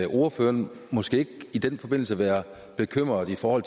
ordføreren måske ikke i den forbindelse være bekymret for